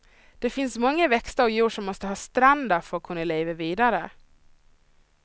Det finns många växter och djur som måste ha stränder för att kunna leva vidare.